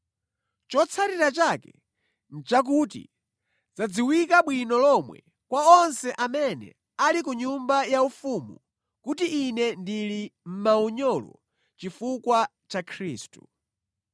Chotsatira chake nʼchakuti zadziwika bwino lomwe kwa onse amene ali ku nyumba yaufumu kuti ine ndili mʼmaunyolo chifukwa cha Khristu.